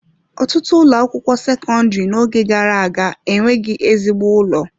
Ọtụtụ ụlọ akwụkwọ sekọndrị n'oge gara aga enweghị ezigbo ụlọ.